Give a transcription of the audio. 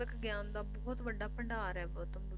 ਆਤਮਿਕ ਗਿਆਨ ਦਾ ਬਹੁਤ ਵੱਡਾ ਭੰਡਾਰ ਇਹ ਬੁੱਧ